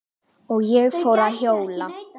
Og ég fór að hjóla.